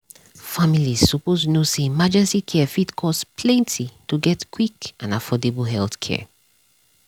families suppose know say emergency care fit cost plenty to get quick and affordable healthcare.